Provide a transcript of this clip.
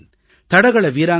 தடகள வீராங்கனை பி